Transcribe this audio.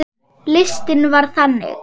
Listinn var þannig